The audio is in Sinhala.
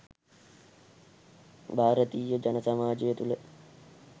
භාරතීය ජන සමාජය තුළ